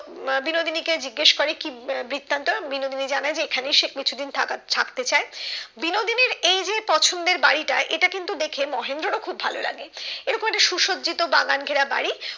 উম বিনোদিনী কে জিজ্ঞাসা করে কি বৃত্তান্ত বিনোদিনী জানায় যে এখানে সে কিছুদিন থাকা থাকতে চায় বিনোদিনীর এই যে পছন্দের বাড়িটা এটা কিন্তু দেখে মহেন্দ্রর ও খুব ভালো লাগে এরকম একটা সুসজ্জিত বাগান ঘেরা বাড়ি